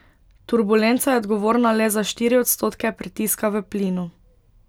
Turbulenca je odgovorna le za štiri odstotke pritiska v plinu.